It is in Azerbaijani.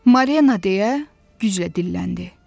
"Marina", deyə güclə dilləndi.